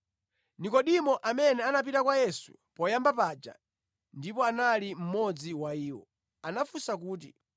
Nekodimo, amene anapita kwa Yesu poyamba paja ndipo anali mmodzi wa iwo, anafunsa kuti,